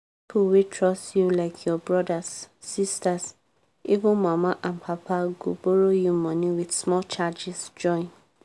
pipo wey trust you like your brothers sisters even mama and papa—go borrow you money with small charges join.